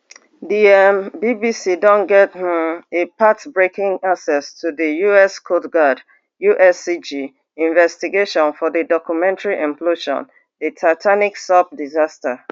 di um bbc don get um a path breaking access to di us coast guard uscg investigation for a documentary implosion the titanic sub disaster